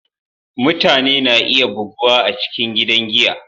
Mutane na iya buguwa a cikin gidan giya.